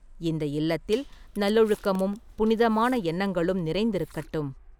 இந்த இல்லத்தில் நல்லொழுக்கமும், புனிதமான எண்ணங்களும் நிறைந்திருக்கட்டும்.